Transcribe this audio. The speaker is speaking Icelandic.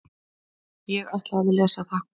Ég ætla að lesa það.